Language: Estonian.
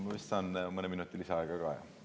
Ma vist saan mõne minuti lisaaega ka, jah?